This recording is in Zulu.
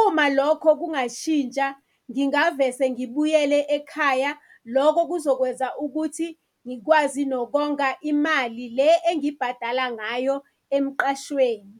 Uma lokho kungashintsha, ngingavese ngibuyele ekhaya. Lokho kuzokwenza ukuthi ngikwazi nokonga imali le engibhadala ngayo emqashweni.